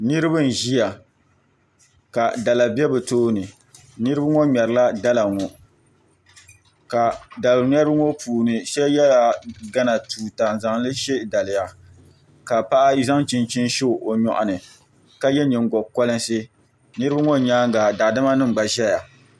Niraba n ʒiya ka dala bɛ bi tooni niraba ŋo ŋmɛrila dala ŋo ka dali ŋmɛribi ŋo puuni so yɛla gana tuuta n zaŋli shɛ daliya ka paɣa zaŋ chinchin shɛ o nyoɣani ka yɛ nyingokolinsi niraba ŋo nyaanga daadama nim gba ʒɛya